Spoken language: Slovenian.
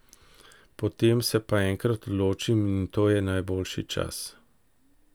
Potem se pa enkrat odločim in to je najboljši čas.